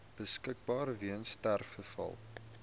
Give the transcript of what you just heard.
beskikbaar weens sterfgevalle